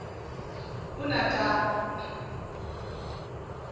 unatana